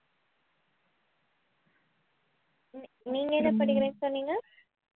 நீங்க என்ன படிக்கிறேன்னு சொன்னீங்க